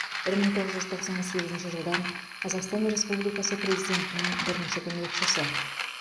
бір мың тоғыз жүз тоқсан сегізінші жылдан қазақстан республикасы президентінің бірінші көмекшісі